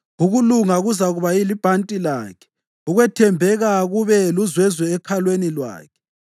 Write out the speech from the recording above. Ukulunga kuzakuba libhanti lakhe, ukwethembeka kube luzwezwe ekhalweni lwakhe.